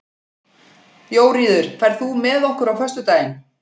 Jóríður, ferð þú með okkur á föstudaginn?